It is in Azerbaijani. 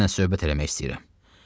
Səninlə söhbət eləmək istəyirəm.